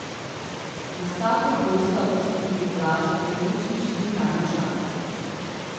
Na startu krosa bosta tudi Blaža Klemenčič in Tanja Žakelj.